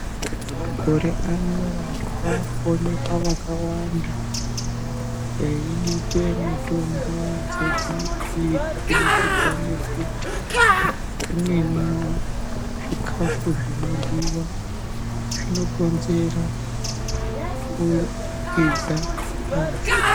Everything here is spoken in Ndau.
Makore ano vantu vakuonekwa vakawanda eidite mutombo dzeBp kubudikidza ngekuti zvimweni zvikafu zvinoryiwa zvinokonzerwa kulukiza ngazi.